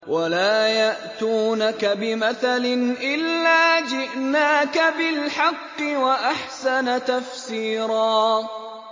وَلَا يَأْتُونَكَ بِمَثَلٍ إِلَّا جِئْنَاكَ بِالْحَقِّ وَأَحْسَنَ تَفْسِيرًا